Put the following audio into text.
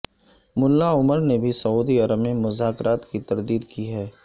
ملا عمر نے بھی سعودی عرب میں مذاکرات کی تردید کی ہے